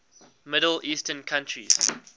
middle eastern countries